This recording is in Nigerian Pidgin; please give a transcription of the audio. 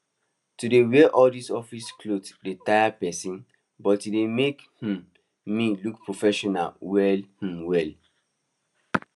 to dey wear all these office cloths dey taya person but e dey make um me look professional well um well